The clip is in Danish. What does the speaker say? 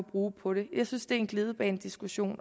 bruge på det jeg synes at det er en glidebanediskussion